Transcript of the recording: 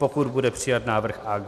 Pokud bude přijat návrh AG.